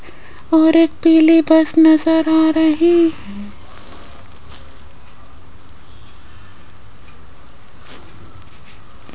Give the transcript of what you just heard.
और एक पीली बस नजर आ रही --